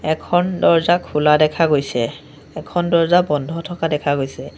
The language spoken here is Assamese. এখন দৰ্জা খোলা দেখা গৈছে এখন দৰ্জা বন্ধ থকা দেখা গৈছে।